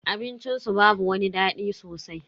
Abincin su babu wani dadi sosai.